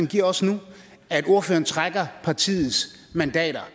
giver os nu at ordføreren trækker partiets mandater